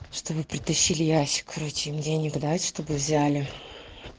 что вы притащили ящик короче им деньги дать чтобы взяли